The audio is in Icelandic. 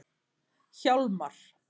Hjálmar